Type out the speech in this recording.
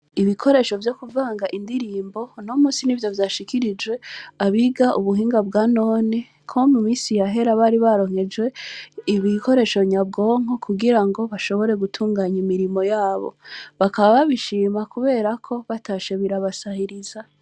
Ibikoresho vyo kuvanga indirimbo uno musi nivyo vyashikirijwe abiga ubuhinga bwanone kuko mu misi yahera bari baronkejwe ibikoresho nyabwonko kugira ngo bashobore gutunganya imirimo yabo, bakaba babishima kubera ko batashe birabasahiriza.